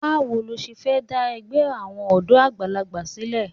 Báwo lo ṣe fẹ́ dá ẹgbẹ́ àwọn ọ̀dọ́ àgbàlagbà sílẹ̀?